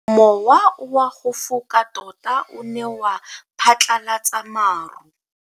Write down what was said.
Mowa o wa go foka tota o ne wa phatlalatsa maru.